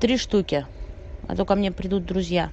три штуки а то ко мне придут друзья